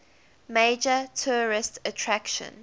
major tourist attraction